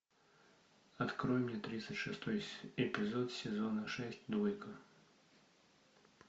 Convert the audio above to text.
открой мне тридцать шестой эпизод сезона шесть двойка